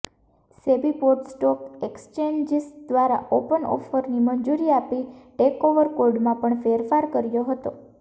સેબી બોર્ડે stock exchanges દ્વારા open ઓફરની મંજૂરી આપી ટેકઓવર કોડમાં પણ ફેરફાર કર્યો હતો